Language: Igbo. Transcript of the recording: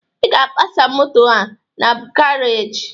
Ị ga-apasa moto a na garaajị!